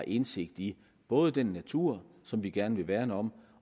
indsigt i både den natur som vi gerne vil værne om